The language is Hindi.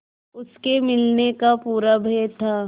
उसके मिलने का पूरा भय था